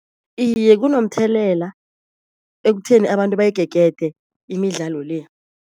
Iye kunomthelela ekutheni abantu bayigegede imidlalo le.